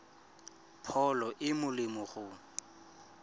pholo e e molemo go